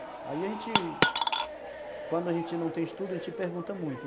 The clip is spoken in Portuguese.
Aí a gente... Quando a gente não tem estudo, a gente pergunta muito